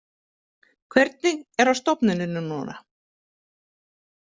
Hvernig er á stofnuninni núna?